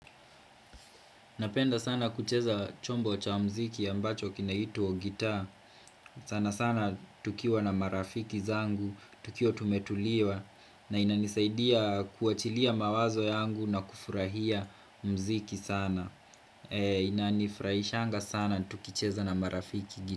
Napenda sana kucheza chombo cha mziki ambacho kinaituwa gita sana sana tukiwa na marafiki zangu, tukiwa tumetuliwa na inanisaidia kuachilia mawazo yangu na kufurahia mziki sana Inanifraishanga sana tukicheza na marafiki gita.